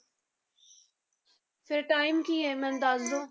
ਫਿਰ time ਕੀ ਹੈ ਮੈਨੂੰ ਦੱਸ ਦਓ।